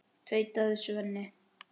tautaði Svenni.